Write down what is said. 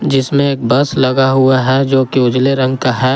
जिसमें एक बस लगा हुआ है जो की उजले रंग का हैं।